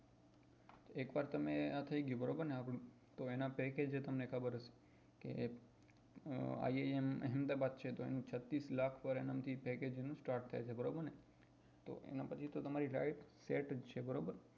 એકવાર તમને આ થઇ ગયું બરાબર ને આપડું તો એના pacage એ તમને ખબર છે કે અ iim ahemdabad ક્ષેત્ર નું છત્રીસ લાખ ત્રાટકે છે બરાબર ને તો એના પછી તો તમારી life set જ છે બરોબર